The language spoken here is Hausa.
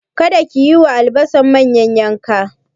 Kada ki yi wa albasar manyan yanka!